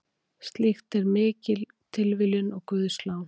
Slíkt er mikil tilviljun og guðslán.